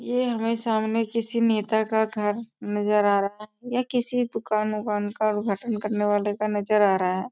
ये हमें सामने किसी नेता का घर नजर आ रहा है या किसी दुकान-उकान का उद्धघाटन करने वाले का नजर आ रहा है।